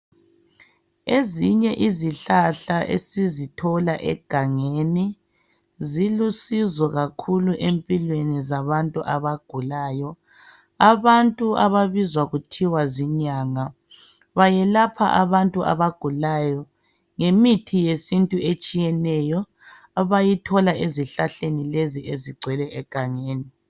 Ezinye izihlahla esizithola egangeni zilusizo kakhulu empilweni zabantu abagulayo. Abantu ababizwa kuthiwa zinyanga bayelapha abantu abagulayo ngemithi yesintu etshiyeneyo abayithola ezihlahleni lezi ezigcwele egangeni.